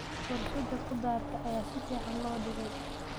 Warshada khudaarta ayaa si fiican loo dhigay.